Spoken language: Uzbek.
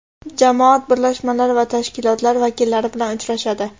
jamoat birlashmalari va tashkilotlar vakillari bilan uchrashadi.